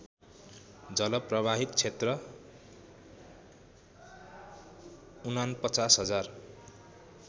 जलप्रवाहित क्षेत्र ४९०००